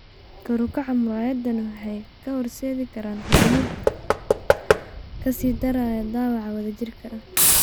Kor u kaca muraayadahaan waxay u horseedi karaan horumar (ka sii daraya) dhaawaca wadajirka ah.